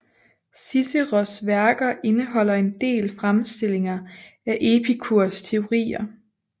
Ciceros værker indeholder en del fremstillinger af Epikurs teorier